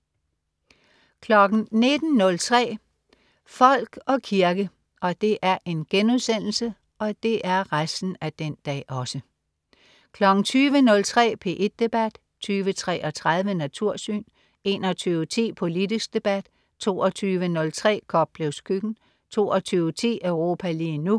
19.03 Folk og kirke* 20.03 P1 Debat* 20.33 Natursyn* 21.10 Politisk debat* 22.03 Koplevs køkken* 22.10 Europa lige nu*